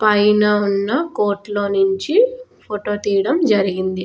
పైన ఉన్న కోటలో నుంచి ఫోటో తీయడం జరిగింది.